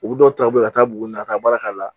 U bɛ dɔw ta u bɛ ka taa buguni ka taa baara k'a la